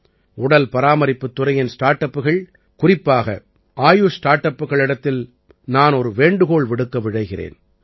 உடல் பராமரிப்புத் துறையின் ஸ்டார்ட் அப்புகள் குறிப்பாக ஆயுஷ் ஸ்டார்ட் அப்புகளிடத்தில் நான் ஒரு வேண்டுகோள் விடுக்க விழைகிறேன்